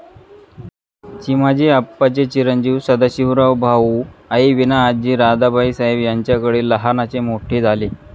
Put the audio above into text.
चिमाजी आप्पा चे चिरंजीव सदाशिवराव भाऊ आईविना आजी राधाबाई साहेब यांच्याकडे लहानाचे मोठे झाले